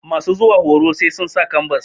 masu zuwa horo sai sun sa kambas